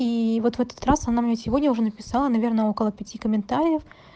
и вот в этот раз она мне сегодня уже написала наверное около пяти комментариев